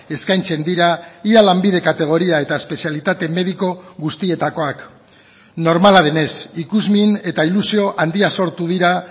eskaintzen dira ia lanbide kategoria eta espezialitate mediko guztietakoak normala denez ikusmin eta ilusio handia sortu dira